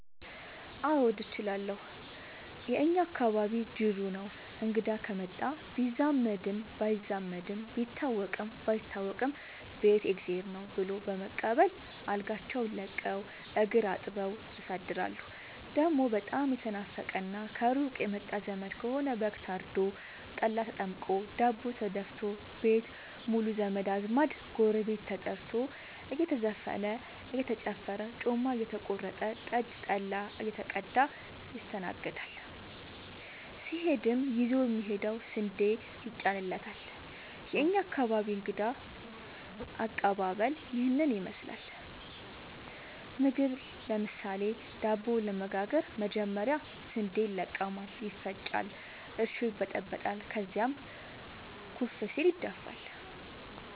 አዎድ እችላለሁ የእኛ አካባቢ ጅሩ ነው። እንግዳ ከመጣ ቢዛመድም ባይዛመድም ቢታወቅም ባይታወቅም ቤት የእግዜር ነው። ብሎ በመቀበል አልጋቸውን ለቀው እግር አጥበው ያሳድራሉ። ደሞ በጣም የተናፈቀና ከሩቅ የመጣ ዘመድ ከሆነ በግ ታርዶ፤ ጠላ ተጠምቆ፤ ዳቦ ተደፋቶ፤ ቤት ሙሉ ዘመድ አዝማድ ጎረቤት ተጠርቶ እየተዘፈነ እየተጨፈረ ጮማ እየተቆረጠ ጠጅ ጠላ እየተቀዳ ይስተናገዳል። ሲሄድም ይዞ የሚሄደው ስንዴ ይጫንለታል። የእኛ አካባቢ እንግዳ ከቀባበል ይህን ይመስላል። ምግብ ለምሳሌ:- ዳቦ ለመጋገር መጀመሪያ ስንዴ ይለቀማል ይፈጫል እርሾ ይበጠበጣል ከዚያም ኩፍ ሲል ይደፋል።